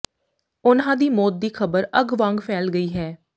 ਉਨ੍ਹਾਂ ਦੀ ਮੌਤ ਦੀ ਖ਼ਬਰ ਅੱਗ ਵਾਂਗ ਫੈਲ ਗਈ ਹੈ